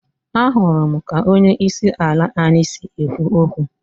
Ahụrụ m ka onye isi ala anyị si ekwu okwu